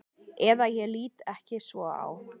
Eða ég lít ekki svo á.